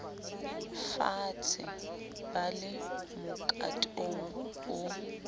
faatshe ba le mokatong o